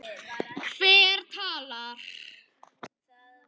Hver talar?